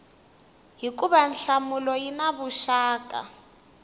hikuva nhlamulo yi na vuxaka